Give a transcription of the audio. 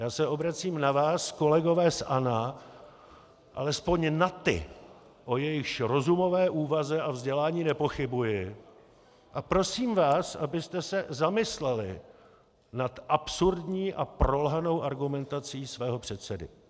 Já se obracím na vás, kolegové z ANO, alespoň na ty, o jejichž rozumové úvaze a vzdělání nepochybuji, a prosím vás, abyste se zamysleli nad absurdní a prolhanou argumentací svého předsedy.